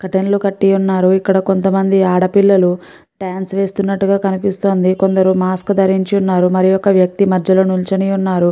Curtain కట్టి ఉన్నారు ఇక్క్కడ కొంత మంది ఆడపిల్లలు డాన్స్ వేస్తూ వున్నారు కొందరు మాస్క్ దరించి వున్నారు. ఒక వెక్తి మదలూ నిల్లుచునారు.